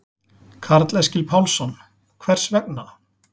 Karl Eskil Pálsson: Hvers vegna?